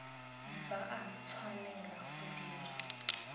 ba a tshwanela go dira